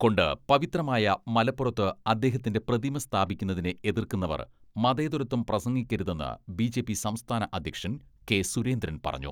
കൊണ്ട് പവിത്രമായ മലപ്പുറത്ത് അദ്ദേഹത്തിന്റെ പ്രതിമ സ്ഥാപിക്കുന്നതിനെ എതിർക്കുന്നവർ മതേതരത്വം പ്രസംഗിക്കരുതെന്ന് ബി.ജെ.പി സംസ്ഥാന അധ്യക്ഷൻ കെ.സുരേന്ദ്രൻ പറഞ്ഞു.